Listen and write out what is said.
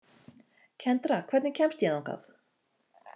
Kendra, hvernig kemst ég þangað?